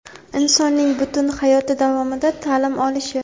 insonning butun hayoti davomida ta’lim olishi;.